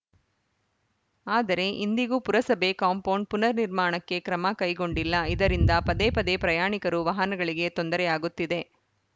ಆದರೆ ಇಂದಿಗೂ ಪುರಸಭೆ ಕಾಂಪೌಂಡ್‌ ಪುನರ್‌ ನಿರ್ಮಾಣಕ್ಕೆ ಕ್ರಮ ಕೈಗೊಂಡಿಲ್ಲ ಇದರಿಂದ ಪದೇಪದೇ ಪ್ರಯಾಣಿಕರು ವಾಹನಗಳಿಗೆ ತೊಂದರೆಯಾಗುತ್ತಿದೆ